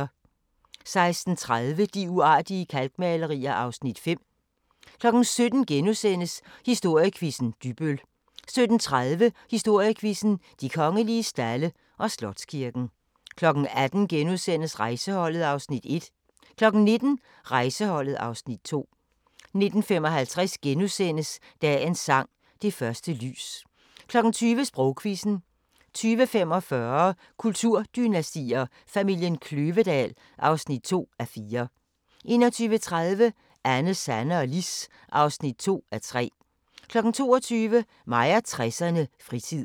16:30: De uartige kalkmalerier (Afs. 5) 17:00: Historiequizzen: Dybbøl * 17:30: Historiequizzen: De Kongelige Stalde og Slotskirken 18:00: Rejseholdet (Afs. 1)* 19:00: Rejseholdet (Afs. 2) 19:55: Dagens sang: Det første lys * 20:00: Sprogquizzen 20:45: Kulturdynastier: Familien Kløvedal (2:4) 21:30: Anne, Sanne og Lis (2:3) 22:00: Mig og 60'erne: Fritid